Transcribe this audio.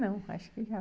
Não, acho que não.